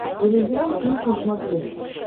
иллюзион плюс на смотрешке